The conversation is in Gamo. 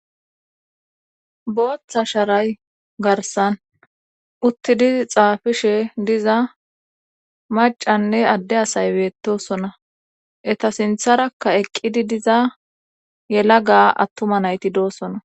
Booththa sharay garsan uttidi xaafishe diza macanne adde asay beettosona eta sintharakka eqqidi diza yela ga attuma nayti doosona